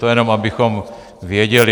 To jenom abychom věděli.